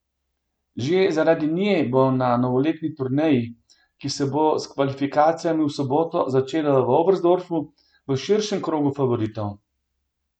Že zaradi nje bo na novoletni turneji, ki se bo s kvalifikacijami v soboto začela v Oberstdorfu, v širšem krogu favoritov.